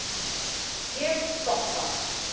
Ég stoppa.